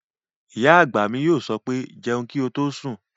Ìyá àgbà mi yóò sọ pé "jẹun kí o tó sùn!"